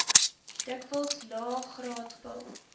dikwels laegraad pil